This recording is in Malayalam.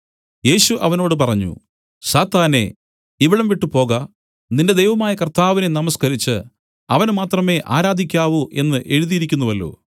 യേശു അവനോട് പറഞ്ഞു സാത്താനേ ഇവിടം വിട്ട് പോക നിന്റെ ദൈവമായ കർത്താവിനെ നമസ്കരിച്ചു അവനെ മാത്രമേ ആരാധിക്കാവൂ എന്നു എഴുതിയിരിക്കുന്നുവല്ലോ